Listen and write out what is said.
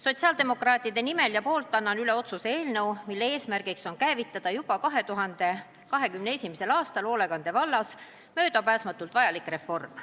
Sotsiaaldemokraatide nimel ja poolt annan üle otsuse eelnõu, mille eesmärk on käivitada juba 2021. aastal hoolekande vallas möödapääsmatult vajalik reform.